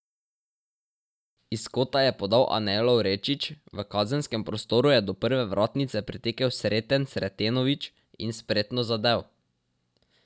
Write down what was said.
Iz kota je podal Anej Lovrečič, v kazenskem prostoru je do prve vratnice pritekel Sreten Sretenović in spretno zadel.